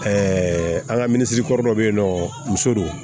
an ka minisiri kɔrɔ dɔ bɛ yen nɔ muso don